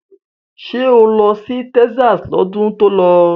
Ṣé o lọ sí Texas lọ́dún tó lọ?